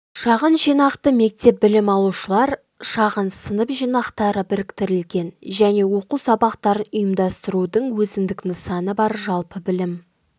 шағын жинақты мектеп білім алушылар шағын сынып-жинақтары біріктірілген және оқу сабақтарын ұйымдастырудың өзіндік нысаны бар жалпы білім